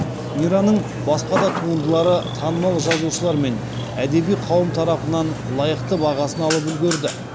мираның басқа да туындылары танымал жазушылар мен әдеби қауым тарапынан лайықты бағасын алып үлгерді